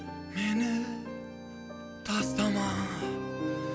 мені тастама